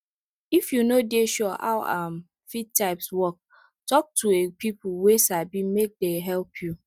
if you no dey sure how um feed types works talk to a people wey sabimake dey help you